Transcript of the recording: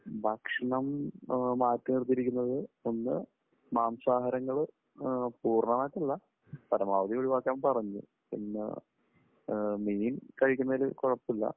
ഭക്ഷണം മാറ്റി നിർത്തിയിരിക്കുന്നത് ഒന്ന് മാംസാഹാരങ്ങൾ പൂർണ്ണമായിട്ടില്ല പരമാവധി ഒഴിവാക്കാൻ പറഞ്ഞു. പിന്നെ മീൻ കഴിക്കുന്നതിൽ കുഴപ്പമില്ല.